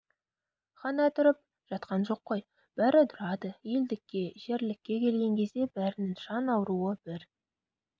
ғана тұрып жатқан жоқ қой бәрі тұрады елдікке жерлікке келген кезде бәрінің жан ауруы бір